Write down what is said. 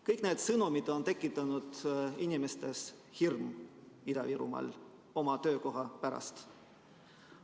Kõik need sõnumid on tekitanud Ida-Virumaa inimestes hirmu oma töökoha pärast.